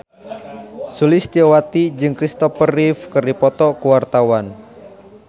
Sulistyowati jeung Kristopher Reeve keur dipoto ku wartawan